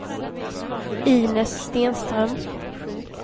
Inez Stenström